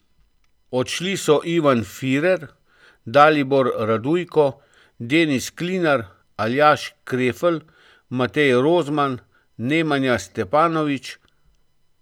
Odšli so Ivan Firer, Dalibor Radujko, Denis Klinar, Aljaž Krefl, Matej Rozman, Nemanja Stjepanović ...